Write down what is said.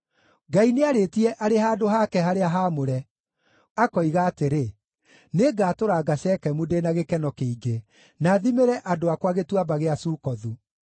Ngai nĩarĩtie arĩ handũ hake harĩa haamũre, akoiga atĩrĩ: “Nĩngatũranga Shekemu ndĩ na gĩkeno kĩingĩ, na thimĩre andũ akwa Gĩtuamba gĩa Sukothu.